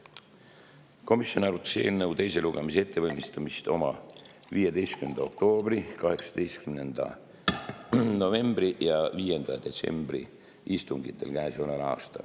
Komisjon arutas eelnõu teise lugemise ettevalmistamiseks oma 15. oktoobri, 18. novembri ja 5. detsembri istungil.